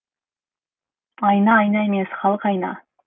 айна айна емес халық айна